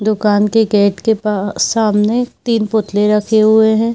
दुकान के गेट के पा सामने तीन पुतलें रखे हुए हैं।